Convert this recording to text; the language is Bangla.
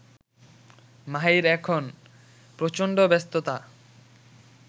মাহির এখন প্রচণ্ড ব্যস্ততা